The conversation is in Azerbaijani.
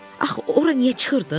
Axı ora niyə çıxırdın?